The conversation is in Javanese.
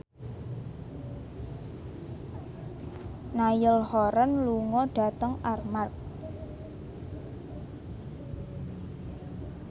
Niall Horran lunga dhateng Armargh